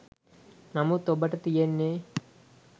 නමුත් ඔබට තියෙන්නේ